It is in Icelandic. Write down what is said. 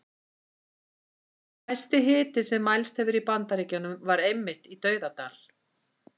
Hæsti hiti sem mælst hefur í Bandaríkjunum var einmitt í Dauðadal.